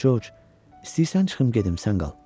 Corc, istəyirsən çıxım gedim, sən qal.